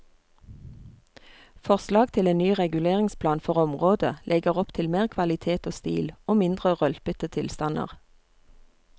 Forslag til en ny reguleringsplan for området legger opp til mer kvalitet og stil og mindre rølpete tilstander.